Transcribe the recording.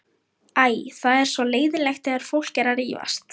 Æ, það er svo leiðinlegt þegar fólk er að rífast.